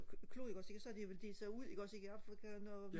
klode ikke også ikke og så har det vel delt sig ud ikke også ikke i Afrika og noget